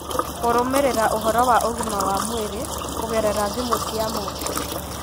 Kũrũmĩrĩra ũhoro wa ũgima wa mwĩrĩ kũgerera thimũ cia moko,